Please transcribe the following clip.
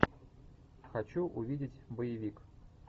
хочу увидеть боевик